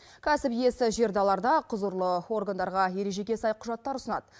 кәсіп иесі жерді аларда құзырлы органдарға ережеге сай құжаттар ұсынады